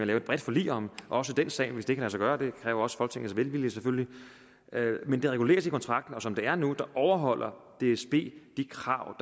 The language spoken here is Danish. lave et bredt forlig om også den sag hvis det kan lade sig gøre og det kræver også folketingets velvilje selvfølgelig men det reguleres i kontrakten og som det er nu overholder dsb de krav